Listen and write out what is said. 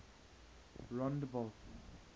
rondebult